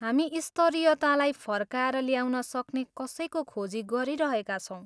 हामी स्तरीयतालाई फर्काएर ल्याउन सक्ने कसैको खोजी गरिरहेका छौँ।